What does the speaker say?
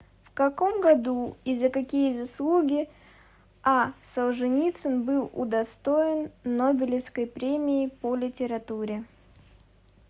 в каком году и за какие заслуги а солженицын был удостоен нобелевской премии по литературе